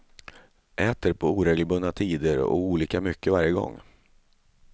Äter på oregelbundna tider och olika mycket varje gång.